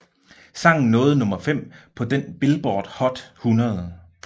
Sangen nåede nummer 5 på den Billboard Hot 100